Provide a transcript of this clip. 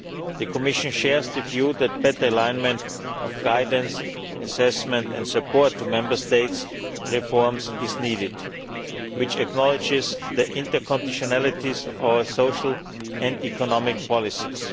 The Commission shares the view that better alignment of guidance, assessment and support for Member States' reforms is needed, which acknowledges the interconditionalities of our social and economic policies.